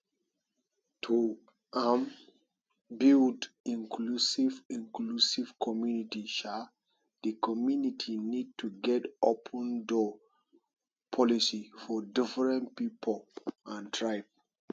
to um build inclusive inclusive community um di community need to get open door policy for different pipo and tribe